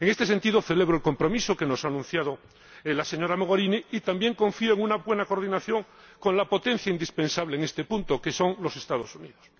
En este sentido, celebro el compromiso que nos ha anunciado la señora Mogherini y también confío en una buena coordinación con la potencia indispensable en este punto, que son los Estados Unidos.